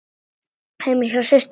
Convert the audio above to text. Heima hjá systur minni?